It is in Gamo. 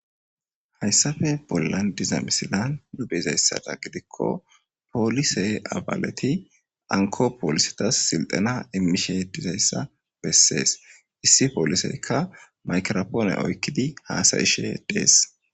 Haysape bolan diza missilan be'zaysadan gidiko polise abaleti hanko polisetas sildhena imishe dizaysa beses issi poliseyka maygirapone oykidi hasa'ishe des.